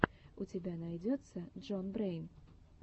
у тебя найдется джон брэйн